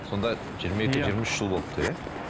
сонда жиырма екі жиырма үш жыл болыпты иә